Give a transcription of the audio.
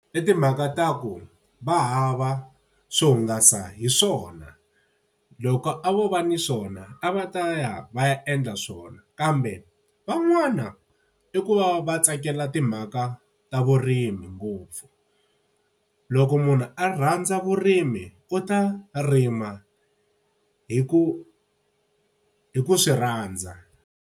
I timhaka ta ku va hava swo hungasa hi swona. Loko a vo va ni swona a va ta ya va ya endla swona, kambe van'wana i ku va va tsakela timhaka ta vurimi ngopfu. Loko munhu a rhandza vurimi u ta rima hi ku hi ku swi rhandza.